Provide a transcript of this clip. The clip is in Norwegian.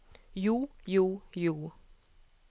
jo jo jo